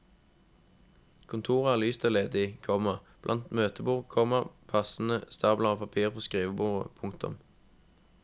Kontoret er lyst og ledig, komma blankt møtebord, komma passende stabler av papir på skrivebordet. punktum